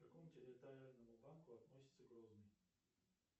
к какому территориальному банку относится грозный